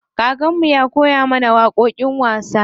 Kakan mu ya koya mana waƙoƙin wasa.